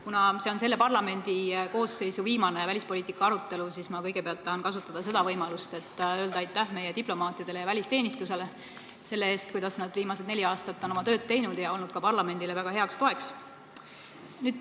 Kuna see on selle parlamendikoosseisu viimane välispoliitika arutelu, siis ma tahan kõigepealt kasutada võimalust ja öelda aitäh meie diplomaatidele ja välisteenistusele selle eest, kuidas nad viimased neli aastat on oma tööd teinud ja ka parlamendile väga heaks toeks olnud.